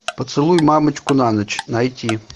поцелуй мамочку на ночь найти